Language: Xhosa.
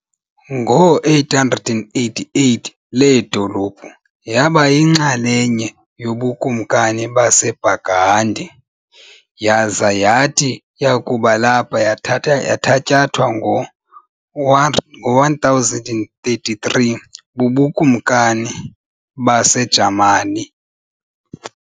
Ngo-888 le dolophu yaba yinxalenye yobuKumkani baseBurgundy, yaza yathi yakuba lapha yathatyathwa ngo-1033 bubuKumakani baseJamani.